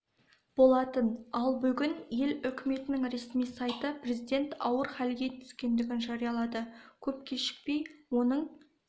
болатын ал бүгін ел үкіметінің ресми сайты президент ауыр халге түскендігін жариялады көп кешікпей оның